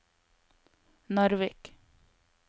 Narvik